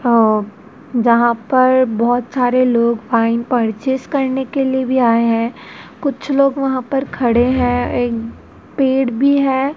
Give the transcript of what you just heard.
अ जहां पर बहोत सारे लोग वाइन परचेस करने के लिए भी आए हैं कुछ लोग वहां पर खड़े हैं एक पेड़ भी हैं।